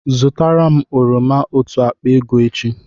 Zụtara m oroma otu akpa ego echi!